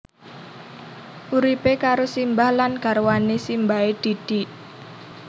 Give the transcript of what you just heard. Uripe karo simbah lan garwane simbahe Didik